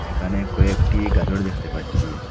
এখানে কয়েকটি গাজর দেখতে পাচ্ছি।